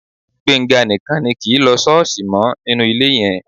Gbénga nìkan ni kì í lọ ṣọ́ọ̀ṣì mọ́ nínú ilé yẹn